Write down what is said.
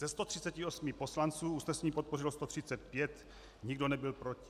Ze 138 poslanců usnesení podpořilo 135, nikdo nebyl proti.